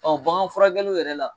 Ɔ bagan furakɛliw yɛrɛ la